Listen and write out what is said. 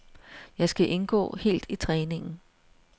Jeg skal indgå helt i træningen.